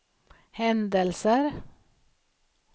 händelser